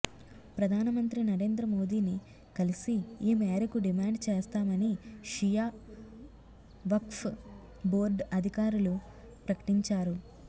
ప్రధాన మంత్రి నరేంద్ర మోదీని కలిసి ఈ మేరకు డిమాండ్ చేస్తామని షియా వక్ఫ్ బోర్డు అధికారులు ప్రకటించారు